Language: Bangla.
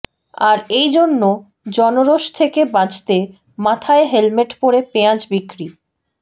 আর এই জন্য জনরোষ থেকে বাঁচতে মাথায় হেলমেট পরে পেঁয়াজ বিক্রি